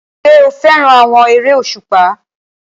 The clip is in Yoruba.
Ṣé o fẹ́ràn àwọn eré òṣùpá?